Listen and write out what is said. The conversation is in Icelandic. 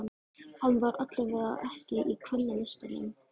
Hann var allavega ekki í Kvennalistanum.